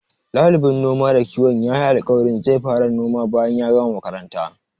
Ɗalibin noma da kiwon yayi alƙawarin zai fara noma bayan gama makaranta.